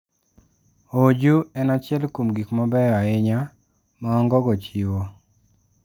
Oju en achiel kuom gik mabeyo ahinya ma ongogo chiwo.